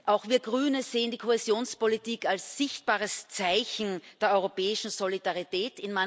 Auch wir Grüne sehen die Kohäsionspolitik als sichtbares Zeichen der europäischen Solidarität.